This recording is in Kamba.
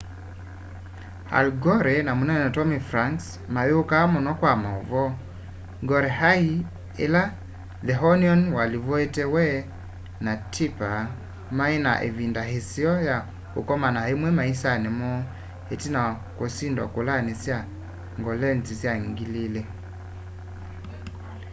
al gore na munene tommy franks mayukaa muno kwa mauvoo gore ai ila the onion walivotie we na tipper mai na ivind aiseo ya ukoma imwe maisani moo itina wa kusindwa kulani sya kolengyi sya 2000